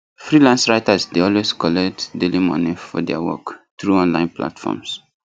freelance writers dey always collect daily moni for their work through online platforms